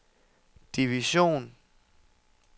division